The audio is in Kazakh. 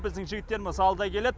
біздің жігіттеріміз алда келеді